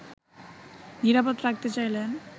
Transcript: নিরাপদ রাখতে চাইলে